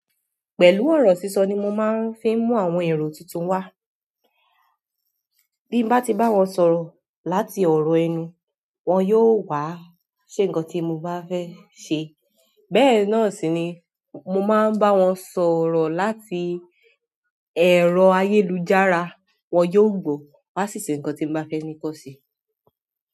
Pẹ̀lú ọ̀rọ̀ sísọ ni mo máa ń fi mú àwọn ẹ̀rọ tuntun wá. Bín bá ti bá wọn sọ̀rọ̀ láti ọ̀rọ̀ ẹnu, wọ́n yóò wá ṣe nǹkan tí mo bá fẹ́ ṣe. Bẹ́ẹ̀ náà sì ni mo máa ń bá wọn sọ̀rọ̀ láti ẹ̀rọ ayélujára, wọ́n yóò gbọ́, wá sì ṣe nǹkan tí mo bá fẹ́ ní kọ́ sí.